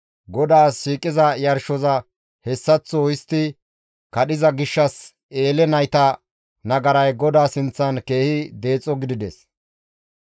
GODAAS shiiqiza yarshoza hessaththo histti kadhiza gishshas Eele nayta nagaray GODAA sinththan keehi deexo gidides.